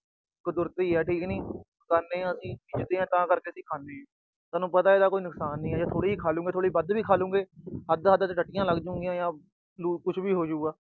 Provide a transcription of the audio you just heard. ਕੁਦਰਤੀ ਆ, ਠੀਕ ਨੀ, ਖਾਣੇ ਆ, ਵਿਕਦੀ ਆ, ਤਾਂ ਕਰਕੇ ਅਸੀਂ ਖਾਣੇ ਆ। ਸਾਨੂੰ ਪਤਾ ਇਹਦਾ ਕੋਈ ਨੁਕਸਾਨ ਨੀ, ਜੇ ਥੋੜੀ ਜੀ ਵੱਧ ਵੀ ਖਾ ਲਉਗੇ, ਹੱਦ-ਹੱਦ ਟੱਟੀਆਂ ਲੱਗ ਜਾਣਗੀਆਂ ਜਾਂ ਲੂ ਅਹ ਕੁਛ ਵੀ ਹੋਜੂਗਾ।